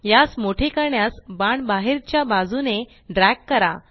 यास मोठे करण्यास बाण बाहेरच्या बाजूने ड्रॅग करा